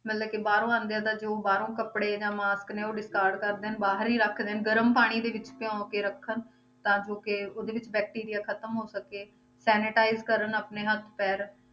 ਮਤਲਬ ਕਿ ਬਾਹਰੋਂ ਆਉਂਦੇ ਆ ਤਾਂ ਜੋ ਬਾਹਰੋਂ ਕੱਪੜੇ ਜਾਂ mask ਨੇ ਉਹ ਕਰ ਦੇਣ ਬਾਹਰ ਹੀ ਰੱਖ ਦੇਣ ਗਰਮ ਪਾਣੀ ਦੇ ਵਿੱਚ ਭਿਓਂ ਕੇ ਰੱਖਣ ਤਾਂ ਜੋ ਕਿ ਉਹਦੇ ਵਿੱਚ bacteria ਖ਼ਤਮ ਹੋ ਸਕੇ sanitize ਕਰਨ ਆਪਣੇ ਹੱਥ ਪੈਰ